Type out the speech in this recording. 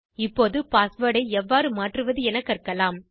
இப்போது பாஸ்வேர்ட் ஐ எவ்வாறு மாற்றுவது என கற்கலாம்